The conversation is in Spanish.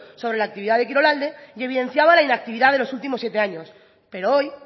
sobre la actividad de kirolalde y evidenciaba la inactividad de los últimos siete años pero hoy